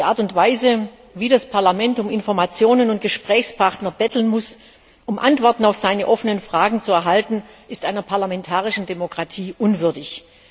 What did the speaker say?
Die Art und Weise, in der das Parlament um Informationen und Gesprächspartner betteln muss, um Antworten auf seine ausstehenden Fragen zu erhalten, ist einer parlamentarischen Demokratie unwürdig.